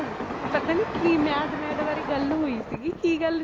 ਪਤਾ ਨੀ ਕੀ mad mad ਬਾਰੇ ਗੱਲ ਹੋਈ ਸੀਗੀ ਕੀ ਗੱਲ